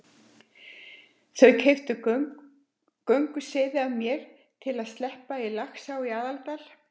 Þau keyptu gönguseiði af mér til að sleppa í Laxá í Aðaldal.